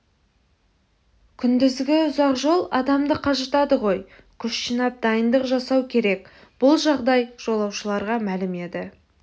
күндізгі ұзақ жол адамды қажытады ғой күш жинап дайындық жасау керек бұл жағдай жолаушыларға мәлім еді